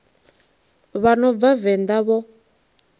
vha no bva venḓa vho